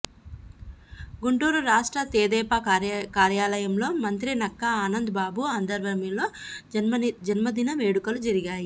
గుంటూరు రాష్ట్ర తెదేపా కార్యాలయంలో మంత్రి నక్కా ఆనంద్ బాబు ఆధ్వర్యంలో జన్మదిన వేడుకలు జరిగాయి